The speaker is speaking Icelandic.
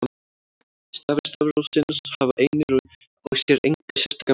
Stafir stafrófsins hafa einir og sér enga sérstaka merkingu.